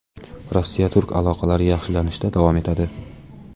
Rossiya-Turkiya aloqalari yaxshilanishda davom etadi.